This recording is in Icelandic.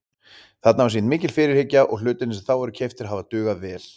Þarna var sýnd mikil fyrirhyggja og hlutirnir sem þá voru keyptir hafa dugað vel.